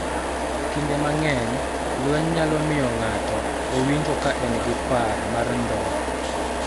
Kinde mang�eny lweny nyalo miyo ng�ato owinjo ka en gi par mar ndhok,